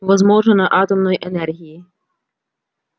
возможно на атомной энергии